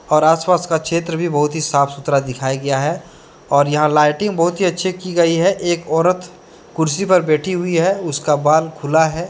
और आस पास का क्षेत्र भी बहुत ही साफ सुथरा दिखाया गया है और यहां लाइटिंग बहुत ही अच्छी की गई है एक औरत कुर्सी पर बैठी हुई है उसका बाल खुला है।